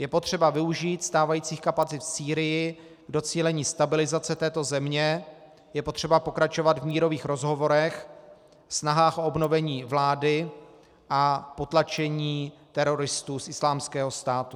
Je potřeba využít stávajících kapacit v Sýrii k docílení stabilizace této země, je potřeba pokračovat v mírových rozhovorech, snahách o obnovení vlády a potlačení teroristů z Islámského státu.